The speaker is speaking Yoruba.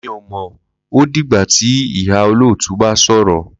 Mí ò mọ̀ ó, ó di gba ti ìhà-olotu bá sọ̀rọ̀